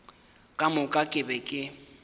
ka moka ke be ke